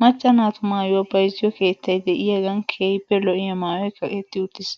Macca naatu maayuwaa bayzziyoo keettay de'iyaagan keehippe lo'iyaa maayoy kaqetti uttis.